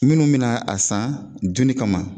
Minnu mina a san dunni kama